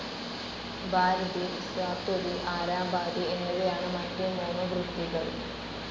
ഭാരതി സാത്വതി ആരാബാദി എന്നിവയാണ് മറ്റു മൂന്നു വൃത്തികൾ.